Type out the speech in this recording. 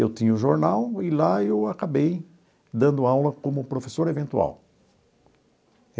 Eu tinha o jornal e lá eu acabei dando aula como professor eventual.